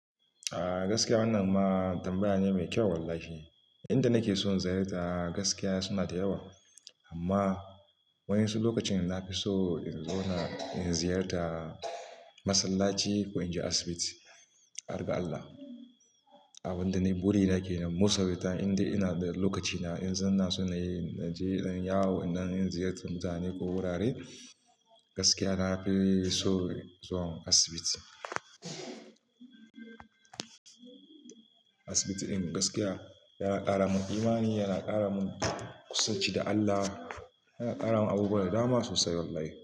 Ah gaskiya wannan ma tambaya ne mai kyau wallahi. Inda nake so in ziyarta gaskiya suna da yawa amma wa'yansu lokacin na fi so in zauna in ziyarta masallaci ko in je asibiti, harga Allah. Abin da niyi burina kenan most of the time in dai ina da lokacina in zan naso nayi je zanyi yawo, in ɗan ziyarci mutane ko wurare gaskiya na fi son zuwan asibiti. Asibiti in gaskiya yana ƙara mun imani, yana ƙara mun kusanci da Allah, yana ƙara mun abubuwa da dama sosai wallahi.